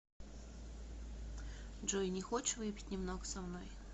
джой не хочешь выпить немного со мной